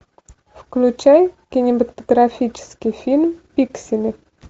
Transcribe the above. включай кинематографический фильм пиксели